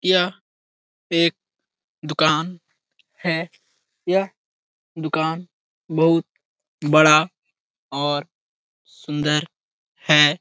यह एक दुकान है। यह दुकान बहुत बड़ा और सुन्दर है।